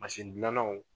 dilannaw